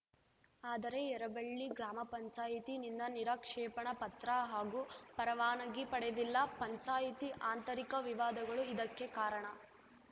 ಆದರೆ ಯರಬಳ್ಳಿ ಗ್ರಾಮ ಪಂಚಾಯತಿ ನಿಂದ ನಿರಾಕ್ಷೇಪಣ ಪತ್ರ ಹಾಗೂ ಪರವಾನಗಿ ಪಡೆದಿಲ್ಲ ಪಂಚಾಯಿತಿ ಆಂತರಿಕ ವಿವಾದಗಳು ಇದಕ್ಕೆ ಕಾರಣ